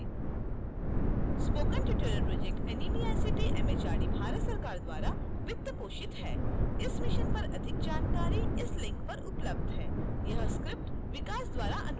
spoken tutorial project NMEICT MHRD Bharat सरकार द्वारा वित्त पोषित है इस मिशन पर अधिक जानकारी इस लिंक पर उपलब्ध है